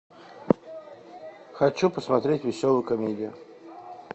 хочу посмотреть веселую комедию